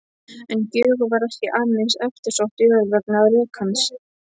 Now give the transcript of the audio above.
En Gjögur var ekki aðeins eftirsótt jörð vegna rekans.